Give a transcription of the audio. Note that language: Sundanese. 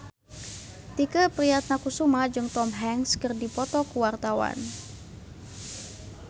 Tike Priatnakusuma jeung Tom Hanks keur dipoto ku wartawan